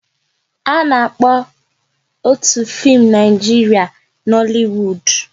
A na-akpọ otu fim Naijiria Nollywood